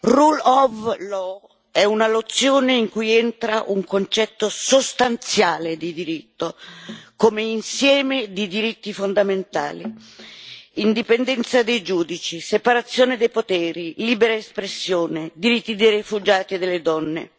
Rule of law è una nozione in cui entra un concetto sostanziale di diritto, come insieme di diritti fondamentali, indipendenza dei giudici, separazione dei poteri, libera espressione, diritti dei rifugiati e delle donne.